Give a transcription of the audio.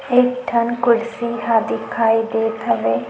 एक ठन कुर्सी ह दिखाई देत हवय --